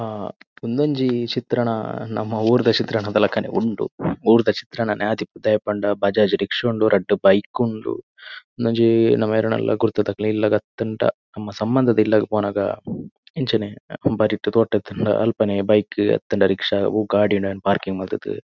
ಆ ಉಂದು ಒಂಜಿ ಚಿತ್ರಣ ನಮ ಉರುದ ಚಿತ್ರಣದ ಲೆಕನೆ ಉಂಡು. ಉರುದ ಚಿತ್ರನನೆ ಆದಿಪ್ಪು ದಾಯೆ ಪಂಡ ಬಜಾಜ್ ರಿಕ್ಷಾ ಉಂಡು ರಡ್ ಬೈಕ್ ಉಂಡು ಉಂದು ಒಂಜಿ ನಮ ಯೆರೆನಾನಲ ಗುರ್ತದ ಇಲಾಲ್ದ ಆತಂಡ ನಮ ಸಬಂಧದ ಇಲ್ಲಾಗ್ ಪೊನಗ ಇಂಚನೆ ಬರಿಥ್ ತೋಟಯಿತಂಡ ಅಲ್ಪನೆ ಬೈಕ್ ಆತಂಡ ರಿಕ್ಷಾ ವೋವ್ ಗಾಡಿ ಉಂಡು ಅವೆಣ್ ಪಾರ್ಕಿಂಗ್ ಮಲ್ತ್ ದ್.